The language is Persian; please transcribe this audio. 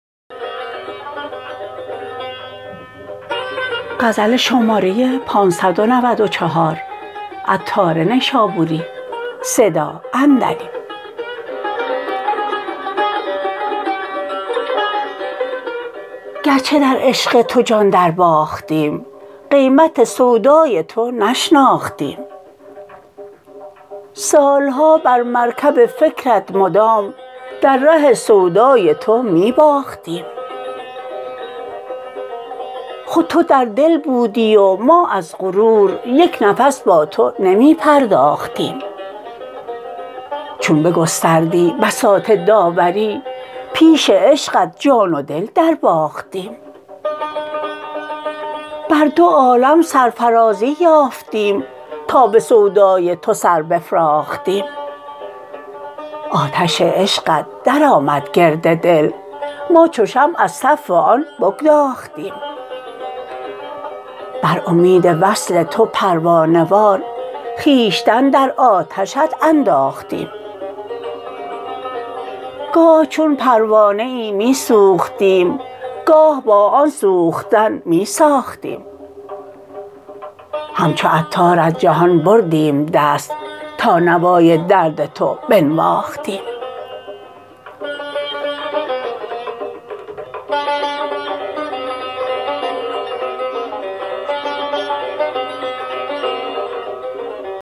گرچه در عشق تو جان درباختیم قیمت سودای تو نشناختیم سالها بر مرکب فکرت مدام در ره سودای تو می باختیم خود تو در دل بودی و ما از غرور یک نفس با تو نمی پرداختیم چون بگستردی بساط داوری پیش عشقت جان و دل درباختیم بر دوعالم سرفرازی یافتیم تا به سودای تو سر بفراختیم آتش عشقت درآمد گرد دل ما چو شمع از تف آن بگداختیم بر امید وصل تو پروانه وار خویشتن در آتشت انداختیم گاه چون پروانه ای می سوختیم گاه با آن سوختن می ساختیم همچو عطار از جهان بردیم دست تا نوای درد تو بنواختیم